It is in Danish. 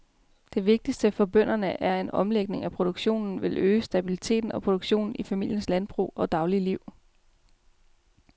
Det vigtigste for bønderne er, at en omlægning af produktionen vil øge stabiliteten og produktionen i familiens landbrug og daglige liv.